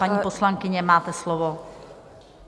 Paní poslankyně, máte slovo.